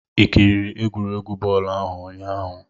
i kiriri egwuregwu bọọlụ ahụ ụnyahụ?